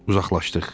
Uzaqlaşdıq.